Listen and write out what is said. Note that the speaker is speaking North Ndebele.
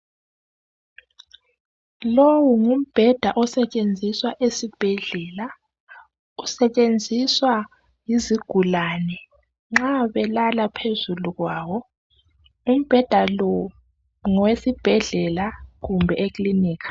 Lowu ngumbheda osetshenziswa esibhedlela, usetshenziswa yizigulane nxa belala phezulu kwawo ,umbheda lo ngowesibhedlela kumbe ekilinika .